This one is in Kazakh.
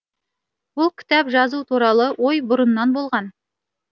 бұл кітап жазу туралы ой бұрыннан болған